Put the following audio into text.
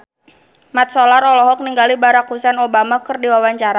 Mat Solar olohok ningali Barack Hussein Obama keur diwawancara